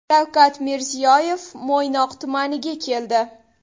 Shavkat Mirziyoyev Mo‘ynoq tumaniga keldi.